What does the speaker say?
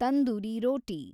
tandoori ರೋಟಿ